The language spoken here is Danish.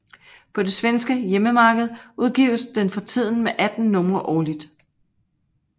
På det svenske hjemmemarked udgives den for tiden med 18 numre årligt